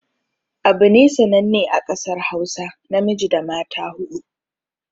Abune sananne a ƙasar hausa namiji da mata huɗu